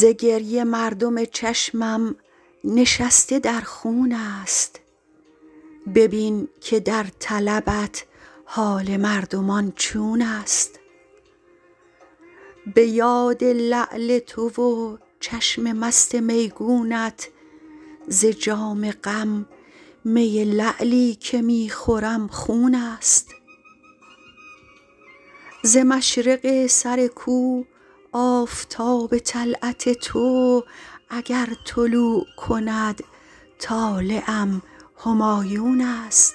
ز گریه مردم چشمم نشسته در خون است ببین که در طلبت حال مردمان چون است به یاد لعل تو و چشم مست میگونت ز جام غم می لعلی که می خورم خون است ز مشرق سر کو آفتاب طلعت تو اگر طلوع کند طالعم همایون است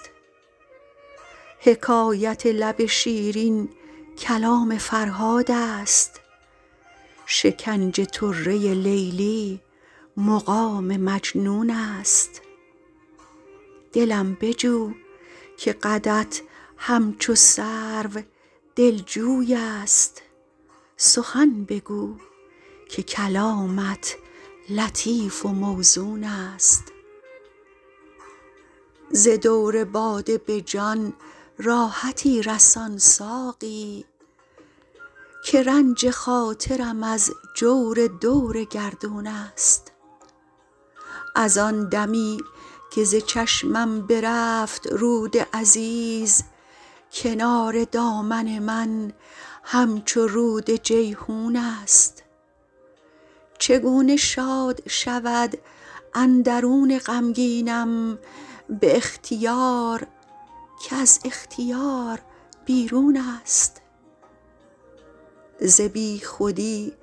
حکایت لب شیرین کلام فرهاد است شکنج طره لیلی مقام مجنون است دلم بجو که قدت همچو سرو دلجوی است سخن بگو که کلامت لطیف و موزون است ز دور باده به جان راحتی رسان ساقی که رنج خاطرم از جور دور گردون است از آن دمی که ز چشمم برفت رود عزیز کنار دامن من همچو رود جیحون است چگونه شاد شود اندرون غمگینم به اختیار که از اختیار بیرون است ز بیخودی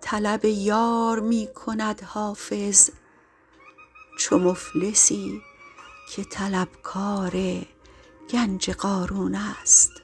طلب یار می کند حافظ چو مفلسی که طلبکار گنج قارون است